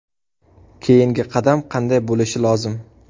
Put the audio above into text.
Keyingi qadam qanday bo‘lishi lozim?